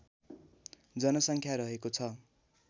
जनसङ्ख्या रहेको छ